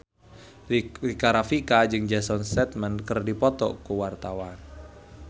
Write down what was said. Rika Rafika jeung Jason Statham keur dipoto ku wartawan